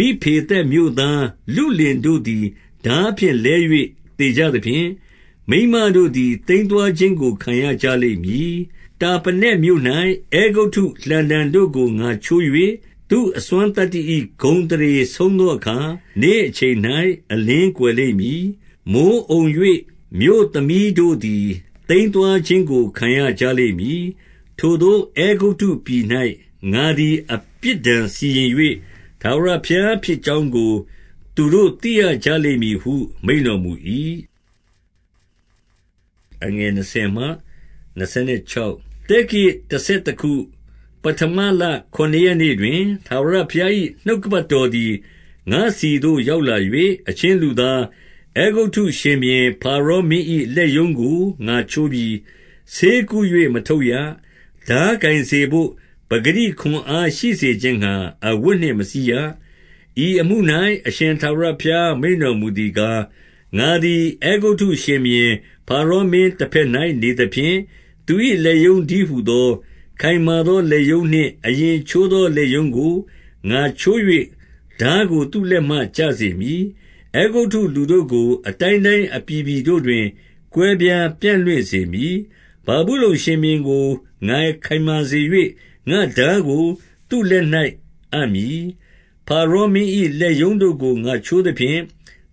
၊ ဖိဗေသက်မြို့သား လုလင်တို့သည် ထားဖြင့်လဲ၍ သေကြသဖြင့်၊ မိန်းမတို့သည် သိမ်းသွား ခြင်းကို ခံရကြလိမ့်မည်။ 18 တာပနက်မြို့၌ အဲဂုတ္တုလှံတံတို့ကို ငါချိုး၍၊ သူ့အစွမ်းသတ္တိ၏ ဂုဏ်အသရေဆုံးသောအခါ နေ့အချိန် ၌ အလင်းကွယ်လိမ့်မည်။ မိုဃ်းအုံ၍ မြို့သမီးတို့သည် သိမ်းသွားခြင်းကို ခံရကြလိမ့်မည်။ 19 ထိုသို့အဲဂုတ္တုပြည်၌ ငါသည် အပြစ်ဒဏ်စီရင်၍၊ ထာဝရဘုရားဖြစ်ကြောင်းကို သူတို့သိရကြလိမ့်မည်ဟု မိန့်တော်မူ၏။ 20 သက္ကရာဇ်တဆယ်တခု၊ ပဌမလ ခုနစ်ရက်နေ့ တွင်၊ ထာဝရဘုရား၏ နှုတ်ကပတ်တော်သည် ငါ့ဆီသို့ရောက်လာ၍၊ 21 အချင်းလူသား၊ အဲဂုတ္တုအရှင်ဘုရင် ဖာရော မင်း၏ လက်ရုံးကို ငါချိုးပြီး။ ဆေကု၍မထုပ်ရ။ ထားကိုင် စေဘို့ ပကတိခွန်အား ရှိစေခြင်းငှါ အဝတ်နှင့်မစည်းရ။ 22 ဤအမှု၌ အရှင်ထာဝရဘုရား မိန့်တော်မူသည် ကား၊ ငါသည် အဲဂုတ္တုရှင်ဘုရင်ဖာရောမင်းတဘက်၌ နေသဖြင့်၊ သူ၏လက်ရုံးတည်းဟူသော၊ ခိုင်မာသော လက်ရုံးနှင့် အရင်ချိုးသောလက်ရုံးကို ငါချိုး၍ထားကို သူ့လက်မှ ကျစေမည်။ 23 အဲဂုတ္တုလူတို့ကို အတိုင်းတိုင်း အပြည်ပြည်တို့ တွင် ကွဲပြားပြန့်လွင့်စေမည်။ 24 ဗာဗုလုန်ရှင်ဘုရင်ကို ငါခိုင်မာစေ၍၊ ငါ့ထားကို သူ့လက်၌ အပ်မည်။ ဖာရောမင်း၏ လက်ရုံးတို့ကို ငါချိုးသဖြင့်၊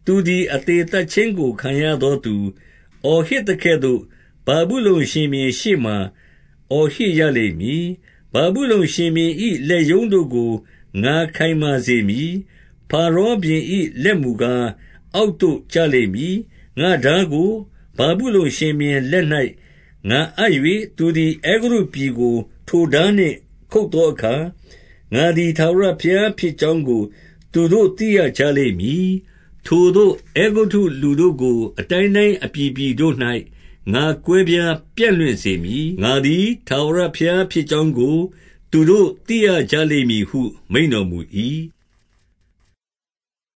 သူသည် အသေသတ်ခြင်းကို ခံရသောသူ အော်ဟစ်သကဲ့သို့၊ ဗာဗုလုန်ရှင်ဘုရင်ရှေ့မှာ အော်ဟစ် ရလိမ့်မည်။ 25 ဗာဗုလုန်ရှင်ဘုရင်၏ လက်ရုံးတို့ကို ငါခိုင်မာစေ မည်။ ဖာရောဘုရင်၏ လက်မူကား၊ အောက်သို့ကျလိမ့် မည်။ ငါ့ထားကို ဗာဗုလုန်ရှင်ဘုရင်လက်၌ ငါအပ်၍၊ သူသည် အဲဂုတ္တပြည်ကို ထိုထားနှင့်ခုတ်သောအခါ၊ ငါ သည် ထားဝရဘုရားဖြစ်ကြောင်းကို သူတို့ သိရကြလိမ့် မည်။ 26 ထိုသို့ အဲဂုတ္တုလူတို့ကို အတိုင်းတိုင်းအပြည်ပြည် တို့၌ ငါကွဲပြားပြန့်လွင့်စေမည်။ ငါသည် ထာဝရဘုရား ဖြစ်ကြောင်းကို သူတို့ရကြလိမ့်မည်ဟု မိန့်တော်မူ၏။